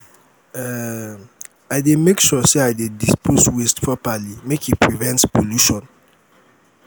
um i dey make sure say i dey dispose waste properly make e prevent pollution.